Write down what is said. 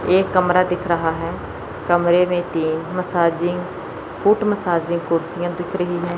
एक कमरा दिख रहा है कमरें में तीन मसाजिंग फूट मसाजिंग कुर्सियां दिख रही है।